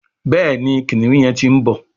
Béèni kìnìún yén tí ń bó.